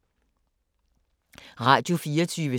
Radio24syv